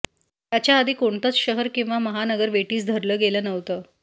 याच्या आधी कोणतंच शहर किंवा महानगर वेठीस धरलं गेलं नव्हतं